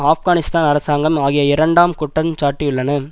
ஆப்கனிஸ்தான் அரசாங்கம் ஆகிய இரண்டாம் குற்றம் சாட்டியுள்ளன